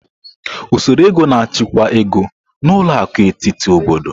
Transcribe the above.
Usoro ego na-achịkwa ego, na ụlọ akụ etiti obodo.